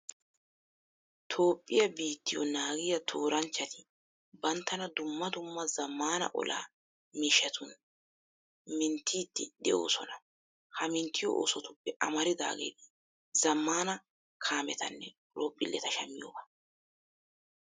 Toophphiya biittiyo naagiya tooranchchati banttana dumma dumma zammaana olaa miishshatun minttiiddi de'oosona. Ha minttiyo oosotuppe amaridaageeti zammana kaametanne horoophphilleta shammiyogaa.